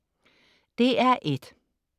DR1: